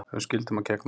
Höfum skyldum að gegna